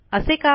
असे का